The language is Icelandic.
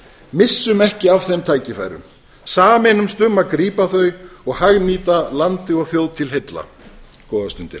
missum ekki af þeim tækifærum sameinumst um að grípa þau og hagnýta landi og þjóð til heilla góðar stundir